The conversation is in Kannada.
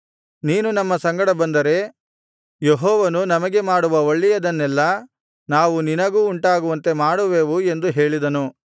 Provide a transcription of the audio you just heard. ನೀನು ನಮ್ಮ ಸಂಗಡ ಬಂದರೆ ಯೆಹೋವನು ನಮಗೆ ಮಾಡುವ ಒಳ್ಳೆಯದನ್ನೆಲ್ಲಾ ನಾವು ನಿನಗೂ ಉಂಟಾಗುವಂತೆ ಮಾಡುವೆವು ಎಂದು ಹೇಳಿದನು